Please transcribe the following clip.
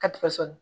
Ka tigɛ sɔɔni